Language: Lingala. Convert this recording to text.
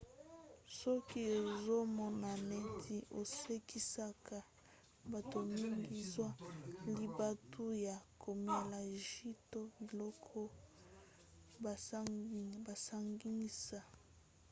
soki ozomona neti osekisaka bato mingi zwa libaku ya komela jus to biloko basangisa: